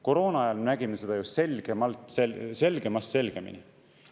Koroona ajal me nägime seda ju selgemast selgemini.